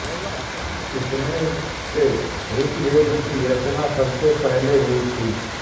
इनमें से ऋग्वेद की रचना सबसे पहले हुई थी